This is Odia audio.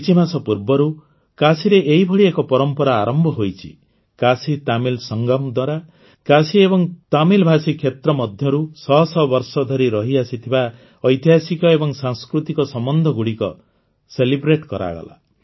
କିଛିମାସ ପୂର୍ବରୁ କାଶୀରେ ଏହିଭଳି ଏକ ପରମ୍ପରା ଆରମ୍ଭ ହୋଇଛି କାଶୀତାମିଲ ସଂଗମ୍ ଦ୍ୱାରା କାଶୀ ଏବଂ ତାମିଲଭାଷୀ କ୍ଷେତ୍ର ମଧ୍ୟରୁ ଶହ ଶହ ବର୍ଷଧରି ରହିଆସିଥିବା ଐତିହାସିକ ଏବଂ ସାଂସ୍କୃତିକ ସମ୍ବନ୍ଧଗୁଡ଼ିକ ସେଲିବ୍ରେଟ୍ କରାଗଲା